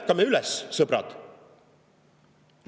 Ärkame üles, sõbrad!